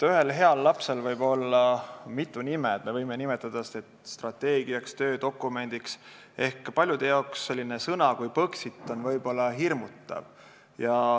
Heal lapsel võib olla mitu nime, me võime nimetada seda strateegiaks või töödokumendiks, sest paljude jaoks võib selline sõna nagu Põxit olla hirmutav.